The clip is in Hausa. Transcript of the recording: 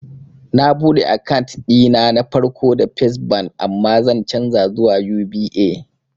Na buɗe akant ɗina na farko da fes bank amma zan canja zuwa UBA